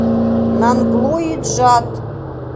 нанглои джат